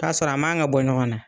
K'a sɔrɔ a man ka bɔ ɲɔgɔn na